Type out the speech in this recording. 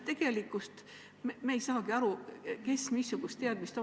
Tegelikult me ei saa aru, kellel missugused teadmised on.